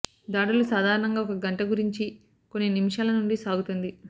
దాడులు సాధారణంగా ఒక గంట గురించి కొన్ని నిమిషాల నుండి సాగుతుంది